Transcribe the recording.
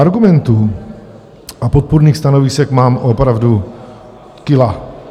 Argumentů a podpůrných stanovisek mám opravdu kila.